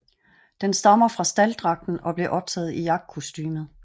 Den stammer fra stalddragten og blev optaget i jagtkostumet